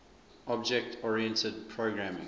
object oriented programming